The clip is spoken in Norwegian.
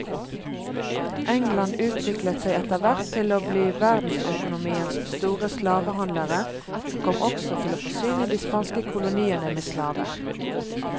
England utviklet seg etterhvert til å bli verdensøkonomiens store slavehandlere, og kom også til å forsyne de spanske koloniene med slaver.